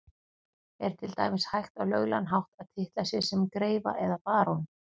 Er til dæmis hægt á löglegan hátt að titla sig sem greifa eða barón?